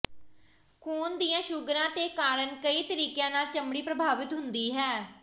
ਖੂਨ ਦੀਆਂ ਸ਼ੂਗਰਾਂ ਦੇ ਕਾਰਨ ਕਈ ਤਰੀਕਿਆਂ ਨਾਲ ਚਮੜੀ ਪ੍ਰਭਾਵਤ ਹੁੰਦੀ ਹੈ